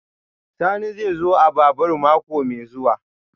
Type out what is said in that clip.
Sani zai zo a babur mako mai zuwa